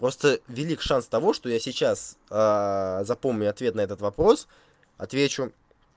просто велик шанс того что я сейчас запомню ответ на этот вопрос отвечу